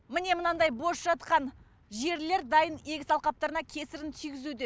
міне мынандай бос жатқан жерлер дайын егіс алқаптарына кесірін тигізуде